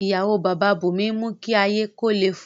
Iyawo Baba Bunmi n mu ki aye ko le fun u